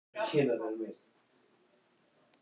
Hvað ef allar upplýsingar kæmu beint frá uppsprettunni?